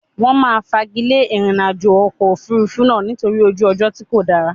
Wọn máa fagilé ìrìnàjò ọkọ̀ Òfurufú náà nítorí ojú ọjọ́ tí kò dáa.